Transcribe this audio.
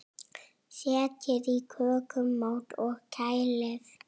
Setjið í kökumót og kælið.